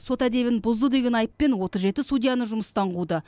сот әдебін бұзды деген айыппен отыз жеті судьяны жүмыстан қуды